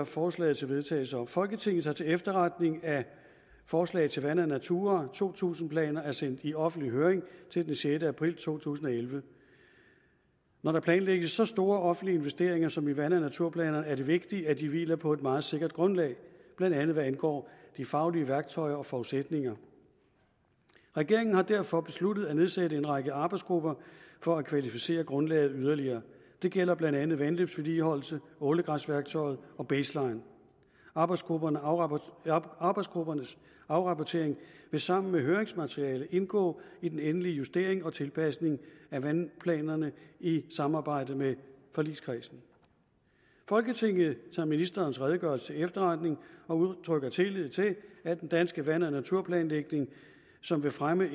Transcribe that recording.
forslag til vedtagelse folketinget tager til efterretning at forslag til vand og natura to tusind planer er sendt i offentlig høring til den sjette april to tusind og elleve når der planlægges så store offentlige investeringer som i vand og naturplanerne er det vigtigt at de hviler på et meget sikkert grundlag blandt andet hvad angår de faglige værktøjer og forudsætninger regeringen har derfor besluttet at nedsætte en række arbejdsgrupper for at kvalificere grundlaget yderligere det gælder blandt andet vandløbsvedligeholdelse ålegræsværktøjet og baseline arbejdsgruppernes afrapportering arbejdsgruppernes afrapportering vil sammen med høringsmaterialet indgå i den endelige justering og tilpasning af vandplanerne i samarbejde med forligskredsen folketinget tager ministerens redegørelse til efterretning og udtrykker tillid til at den danske vand og naturplanlægning som vil fremme